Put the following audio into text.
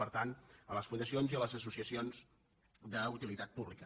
per tant a les fundacions i a les associacions d’utilitat pública